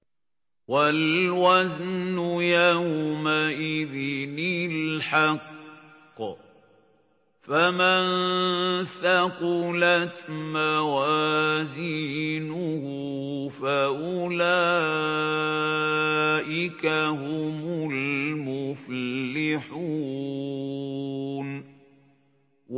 وَالْوَزْنُ يَوْمَئِذٍ الْحَقُّ ۚ فَمَن ثَقُلَتْ مَوَازِينُهُ فَأُولَٰئِكَ هُمُ الْمُفْلِحُونَ